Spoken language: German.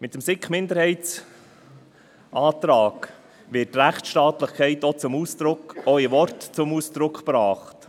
Mit dem SiK-Minderheitsantrag wird die Rechtstaatlichkeit auch in Worten zum Ausdruck gebracht.